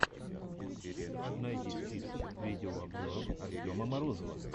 найди список видеообзоров артема морозова